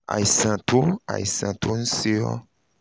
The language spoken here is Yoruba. àìsàn tó àìsàn tó ń ṣe ọ́